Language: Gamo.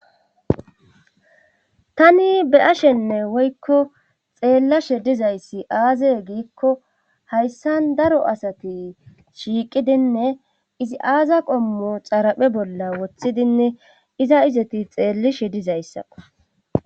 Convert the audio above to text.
tani be ashenne woykko xeellashe dizayssi aaze giikko hayssan daro asati shiiqidinne izi aaza qommo xaraphe bolla woththidinne iza izati xeellishe dizayssaqo